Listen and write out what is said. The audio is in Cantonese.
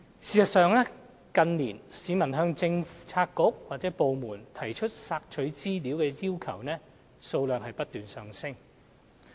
事實上，近年市民向政策局/部門提出索取資料的要求數量不斷上升。